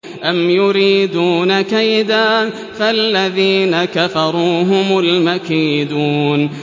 أَمْ يُرِيدُونَ كَيْدًا ۖ فَالَّذِينَ كَفَرُوا هُمُ الْمَكِيدُونَ